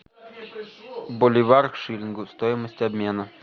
боливар к шиллингу стоимость обмена